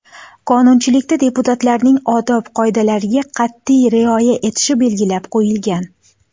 Qonunchilikda deputatlarning odob qoidalariga qat’iy rioya etishi belgilab qo‘yilgan.